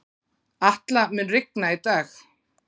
Atla, mun rigna í dag?